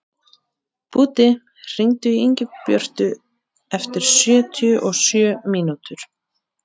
Búddi, hringdu í Ingibjörtu eftir sjötíu og sjö mínútur.